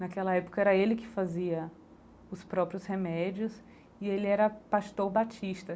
Naquela época era ele que fazia os próprios remédios e ele era pastor batista.